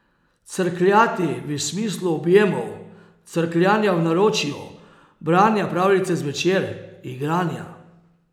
Crkljati v smislu objemov, crkljanja v naročju, branja pravljice zvečer, igranja.